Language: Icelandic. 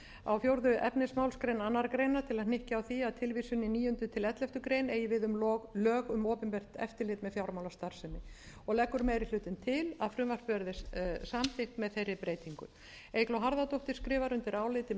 á fjórða efnismálsgrein annarrar greinar til að hnykkja á því að tilvísun í níunda til elleftu greinar eigi við um lög um opinbert eftirlit með fjármálastarfsemi og leggur meiri hlutinn til að frumvarpið verði samþykkt með þeirri breytingu eygló harðardóttir skrifar undir álitið með